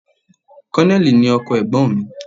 Kọ́nẹ̀lì ni ọkọ ẹ̀gbọ́n mi